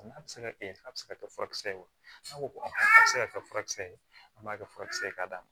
N'a bɛ se ka kɛ a bɛ se ka kɛ furakisɛ ye wa n'a ko ko a bɛ se ka kɛ furakisɛ ye an b'a kɛ furakisɛ ye ka d'a ma